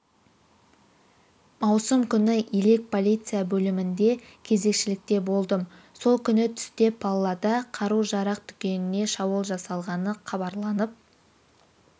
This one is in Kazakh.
маусым күні елек полиция бөлімінде кезекшілікте болдым сол күні түсте паллада қару-жарақ дүкеніне шабуыл жасалғаны хабарланып